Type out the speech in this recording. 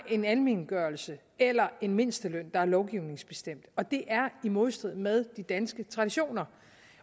en almengørelse eller en mindsteløn der er lovgivningsbestemt og det er i modstrid med de danske traditioner